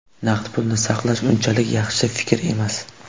Naqd pulni saqlash unchalik yaxshi fikr emas.